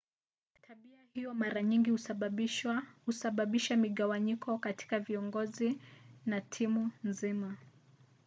tabia hiyo mara nyingi husababisha migawanyiko kati ya viongozi na timu nzima